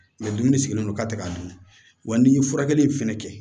dumuni sigilen don ka tɛ k'a dun wa n'i ye furakɛli in fɛnɛ kɛ